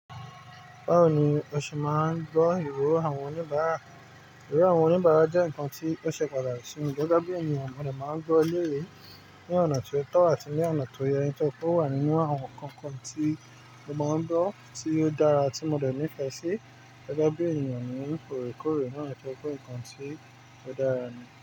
Báwo ni o ṣe máa ń gbọ́ ìro àwọn oníbàárà? Iro awọn oníbàárà jẹ́ nǹkan tí ó ṣe pàtàkì sí mi. Gẹ́gẹ́ bí ènìyàn, mo de máa ń gbọ́ elèyí, ní ọ̀nà ti ó tọ́ àti ní ọ̀nà tó yẹ. Nítoripé ó wà nínú àwọn nǹkankan tí mo máa ń gbọ́ tí ó dára tí mo dẹ̀ nífẹ̀ẹ́ sí. Gẹ́gẹ́ bí ènìyàn, mo ń òòrèkòòrè náà nítoripé ǹkan tí ó dára ni.